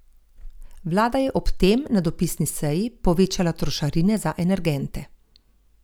Vlada je ob tem na dopisni seji povečala trošarine za energente.